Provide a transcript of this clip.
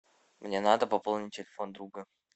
мне надо пополнить телефон друга